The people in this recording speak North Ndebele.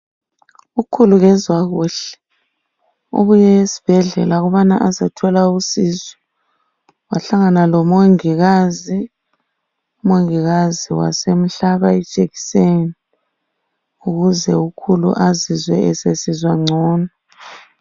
Ukhulu kezwa kuhle ubuye esibhedlela ukubana azothola usizo wahlangana lomongikazi, umongikazi wasemhlaba ijekiseni ukuze ukhulu azizwe esesizwa ngcono.